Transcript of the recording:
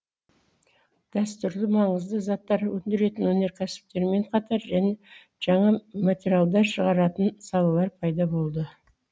дәстүрлі маңызды заттар өндіретін өнеркәсіптермен қатар жаңа материалдар шығаратын салалар пайда болды